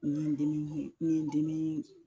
N ye dimi kun, n ye dimi